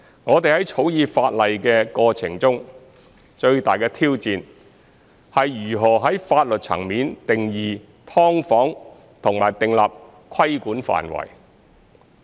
我們在草擬法例的過程中，最大的挑戰是如何在法律層面定義"劏房"和訂立規管範圍。